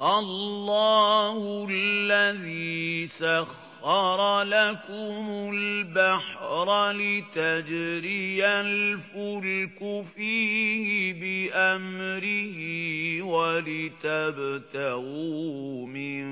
۞ اللَّهُ الَّذِي سَخَّرَ لَكُمُ الْبَحْرَ لِتَجْرِيَ الْفُلْكُ فِيهِ بِأَمْرِهِ وَلِتَبْتَغُوا مِن